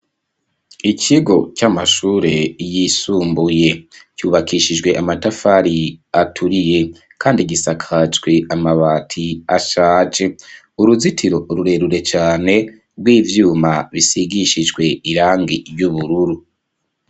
Ikigo, c'amashure yisumbuye; cubakishijwe amatafari, aturiye, kandi gisakajwe amabati, ashaje; uruzitiro rurerure cane, rw'ivyuma, bisigishijwe irangi ry'ubururu.